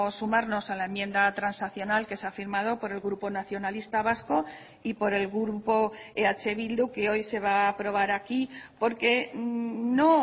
sumarnos a la enmienda transaccional que se ha firmado por el grupo nacionalista vasco y por el grupo eh bildu que hoy se va a aprobar aquí porque no